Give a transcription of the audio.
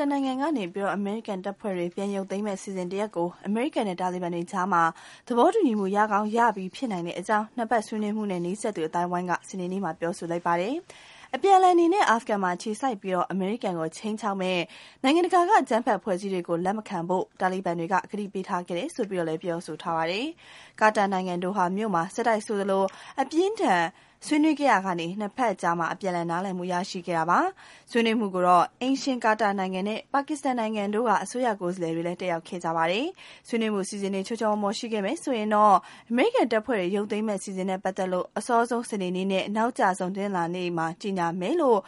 န်နိုင်ငံကနေ အမေရိကန်တပ်ဖွဲ့တွေ ပြန်ရုပ်သိမ်းမယ့် အစီအစဉ်တရပ်ကို အမေရိကန်နဲ့ တာလီဘန် တွေကြား သဘောတူညီမှု ရကောင်းရပြီး ဖြစ်နိုင်ကြောင်း ၂ ဘက်ဆွေးနွေးမှုနဲ့ နီးစပ်သူ အသိုင်းအဝန်းက စနေနေ့မှာ ပြောပါတယ်။ အပြန်အလှန်အနေနဲ့ အာဖဂန်မှာအခြေစိုက်ပြီး အမေရိကန်ကို ခြိမ်းခြောက်မယ့် နိုင်ငံ တကာက အကြမ်းဖက် အဖွဲ့အစည်းတွေကို လက်မခံဖို့ တာလီဘန်တွေက ကတိပေးခဲ့ တယ်လို့လည်း ဆိုပါတယ်။ ကာတာနိုင်ငံ ဒိုဟာ မြို့မှာ ဆက်တိုက်ဆိုသလို အပြင်းအထန် ဆွေးနွေးခဲ့ရာက ၂ ဘက်အကြား အပြန်အလှန် နားလည်မှု ရခဲ့ကြတာပါ။ ဆွေးနွေးပွဲ ကိုတော့ အိမ်ရှင် ကာတာနိုင်ငံနဲ့ ပါကစ္စတန်နိုင်ငံတို့က အစိုးရကိုယ်စားလှယ်တွေ လည်း တက်ရောက်ခဲ့ကြပါတယ်။ ဆွေးနွေးမှု အစီအစဉ်တွေ ချောချောမောမော ရှိခဲ့မယ်ဆိုရင်တော့ အမေရိကန်တပ်ဖွဲ့တွေ ရုပ်သိမ်းမယ့် အစီအစဉ်နဲ့ ပတ်သက်လို့ အစောဆုံး စနေနေ့နဲ့ နောက်အကျဆုံး တနင်္လာ နေ့ လောက်မှာ ကြေညာမယ် လို့